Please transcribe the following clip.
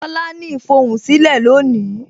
Tola ní ifohunsilẹ lónìí